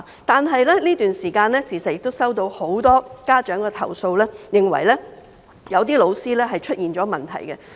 但是，在這段時間，我時常收到很多家長的投訴，認為有些教師出現問題。